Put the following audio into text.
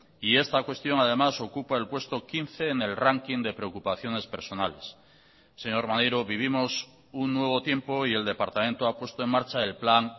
y esta cuestión además ocupa el puesto quince en el ranking de preocupaciones personales señor maneiro vivimos un nuevo tiempo y el departamento ha puesto en marcha el plan